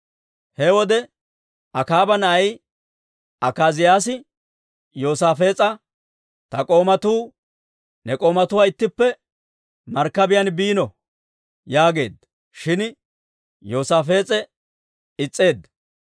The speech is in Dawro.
He wode Akaaba na'ay Akaaziyaasi Yoosaafees'a, «Ta k'oomatuu ne k'oomatuwaanna ittippe markkabiyaan biino» yaageedda; shin Yoosaafees'e is's'eedda.